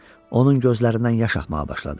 Onun gözlərindən yaş axmağa başladı.